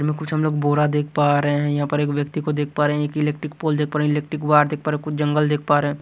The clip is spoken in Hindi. में कुछ हम लोग बोरा देख पा रहे हैं यहाँ पर एक व्यक्ति को देख पा रहे हैं एक इलेक्ट्रिक पोल देख पा रहे हैं इलेक्ट्रिक वार देख पा रहे हैं कुछ जंगल देख पा रहे हैं।